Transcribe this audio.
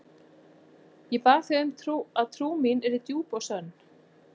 Ég bað þig um að trú mín yrði djúp og sönn.